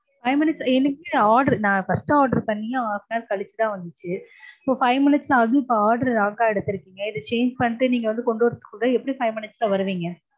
five minutes எனக்கு order நா first order பண்ணியே half an hour கழிச்சுதா வந்துச்சு. இப்போ five minutes ல அதுவும் order wrong கா எடுத்திருக்கீங்க. இத change பண்ணிட்டு நீங்க வந்து கொண்டு வர்ரதுக்குள்ள எப்படி five minutes ல வருவீங்க?